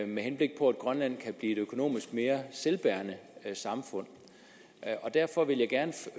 med henblik på at grønland kan et økonomisk mere selvbærende samfund derfor vil jeg gerne